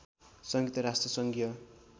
संयुक्त राष्ट्र सङ्घीय